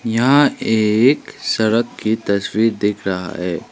यहां एक सड़क की तस्वीर दिख रहा है।